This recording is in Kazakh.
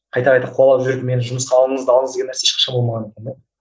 қайта қайта қуалап жүріп мені жұмысқа алыңыз да алыңыз деген нәрсе ешқашан болмаған екен де